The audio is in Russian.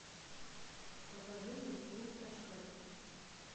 покажи мне клуб очкариков